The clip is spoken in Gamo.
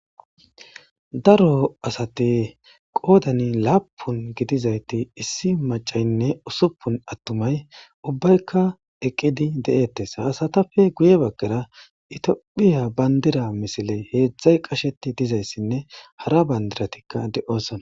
Daro asati qodani lapun gidiayti issi macaynne husupun attumay ubbatikka eqidi de'ettes ha asatappe guye bagara itophiya bandira misiley hezdzday qaheti dizayisanne hara banidiratikka de'ossonna